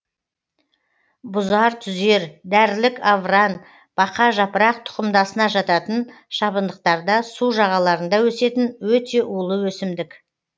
бұзартүзер дәрілік авран бақажапырақ тұқымдасына жататын шабындықтарда су жағаларында өсетін өте улы өсімдік